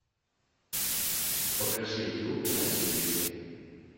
покажи ю на телевизоре